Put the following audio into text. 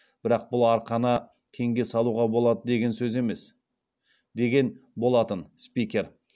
бірақ бұл арқаны кеңге салуға болады дегенсөз емес деген болатын спикер